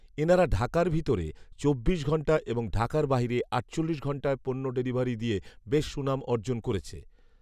ইনারা ঢাকার ভিতরে চব্বিশ ঘন্টা এবং ঢাকার বাহিরে আটচল্লিশ ঘন্টায় পণ্য ডেলিভারি দিয়ে বেশ সুনাম অর্জন করেছে